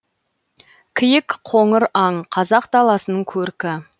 киік қоңыр аң қазақ даласының көркі